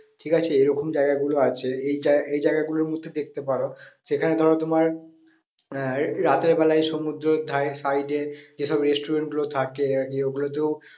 ঠিক আছে এরকম জায়গা গুলো আছে এই এই জায়গা গুলোর মধ্যে দেখতে পারো সেখানে ধরো তোমার আহ রাতের বেলায় সমুদ্রর ধারে side এ যে সব restaurant গুলো থাকে গিয়ে ওগুলোতেও